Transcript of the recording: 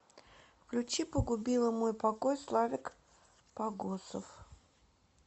включи погубила мой покой славик погосов